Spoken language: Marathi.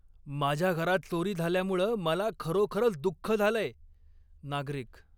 माझ्या घरात चोरी झाल्यामुळं मला खरोखरच दुख्ख झालंय. नागरिक